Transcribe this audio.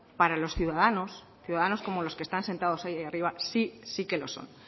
para los ciudadanos ciudadanos como los que están sentados ahí arriba sí que lo son